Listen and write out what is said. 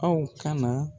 Aw kana